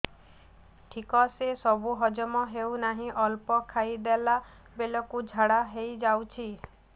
ଠିକସେ ସବୁ ହଜମ ହଉନାହିଁ ଅଳ୍ପ ଖାଇ ଦେଲା ବେଳ କୁ ଝାଡା ହେଇଯାଉଛି